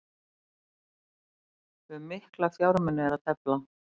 Um mikla fjármuni er að tefla